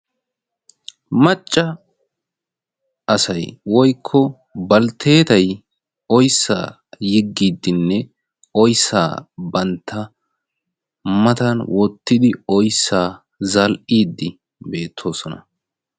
Macca asay woykko balttetay oyssa yeggiiddinne oyssa bantta matan wottidi oyssa zal"iidi beettoosona.